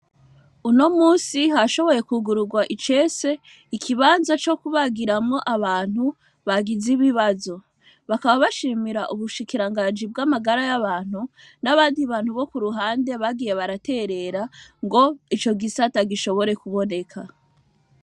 Uno munsi hashoboye kwugururwa icese ikibanza co kubagiramwo abantu bagize ibibazo bakaba bashimira ubushikiranganji bw'amagara y'abantu n'abandi bantu bo ku ruhande bagiye baraterera ngo ico gisata gishobore kuboneka.